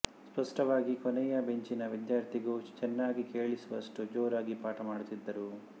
ಸ್ಪಷ್ಟವಾಗಿ ಕೊನೆಯ ಬೆಂಚಿನ ವಿದ್ಯಾರ್ಥಿಗೂ ಚೆನ್ನಾಗಿ ಕೇಳಿಸುವಷ್ಟು ಜೋರಾಗಿ ಪಾಠ ಮಾಡುತ್ತಿದ್ದರು